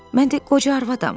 Mən də qoca arvadam.